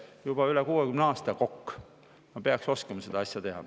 Ma olen juba üle 60 aasta Kokk, ma peaks oskama seda asja.